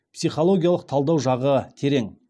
психологиялық талдау жағы терең